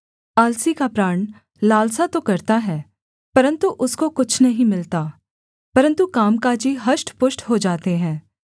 आलसी का प्राण लालसा तो करता है परन्तु उसको कुछ नहीं मिलता परन्तु कामकाजी हष्टपुष्ट हो जाते हैं